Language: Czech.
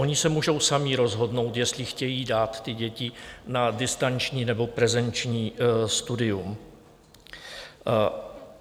Oni se můžou sami rozhodnout, jestli chtějí dát ty děti na distanční, nebo prezenční studium.